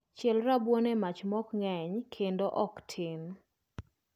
Chiel rabuon e mach mok ng'eny kendo ok tin